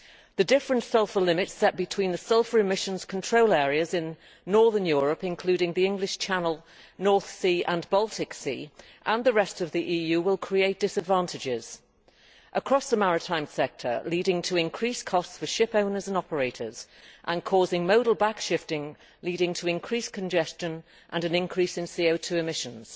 The different sulphur limits set between the Sulphur Emission Control Areas in northern Europe, including the English Channel, North Sea and Baltic Sea, and the rest of the EU will create disadvantages across the maritime sector, leading to increased costs for ship owners and operators and causing modal back shifting, which will lead to increased congestion and an increase in CO 2 emissions.